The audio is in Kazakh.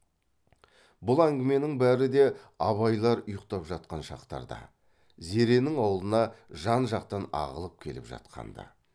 бұл әңгіменің бәрі де абайлар ұйқтап жатқан шақтарда зеренің аулына жан жақтан ағылып келіп жатқан ды